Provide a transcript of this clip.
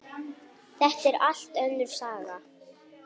Þetta er allt önnur saga!